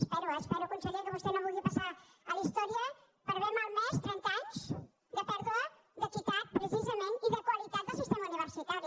espero espero conseller que vostè no vulgui passar a la història per haver malmès trenta anys de pèrdua d’equitat precisament i de qualitat del sistema universitari